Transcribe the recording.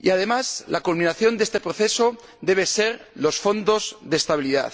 Y, además, la culminación de este proceso deben ser los fondos de estabilidad.